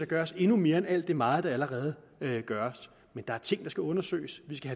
gøres endnu mere end alt det meget der allerede gøres men der er ting der skal undersøges vi skal